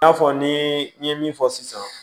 I n'a fɔ ni i ye min fɔ sisan